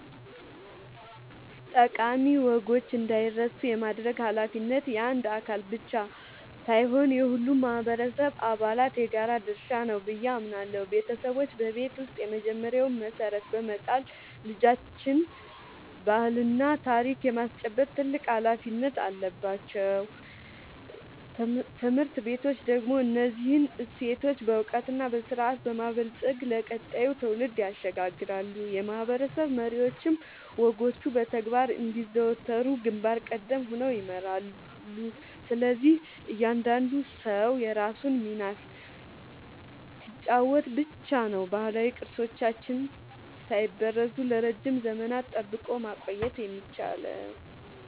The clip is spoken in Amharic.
ጠቃሚ ወጎች እንዳይረሱ የማድረግ ኃላፊነት የአንድ አካል ብቻ ሳይሆን የሁሉም ማህበረሰብ አባላት የጋራ ድርሻ ነው ብዬ አምናለሁ። ቤተሰቦች በቤት ውስጥ የመጀመሪያውን መሰረት በመጣል ልጆችን ባህልና ታሪክ የማስጨበጥ ትልቅ ኃላፊነት አለባቸው። ትምህርት ቤቶች ደግሞ እነዚህን እሴቶች በዕውቀትና በስርዓት በማበልጸግ ለቀጣዩ ትውልድ ያሸጋግራሉ፤ የማህበረሰብ መሪዎችም ወጎቹ በተግባር እንዲዘወተሩ ግንባር ቀደም ሆነው ይመራሉ። ስለዚህ እያንዳንዱ ሰው የራሱን ሚና ሲጫወት ብቻ ነው ባህላዊ ቅርሶቻችንን ሳይበረዙ ለረጅም ዘመናት ጠብቆ ማቆየት የሚቻለው።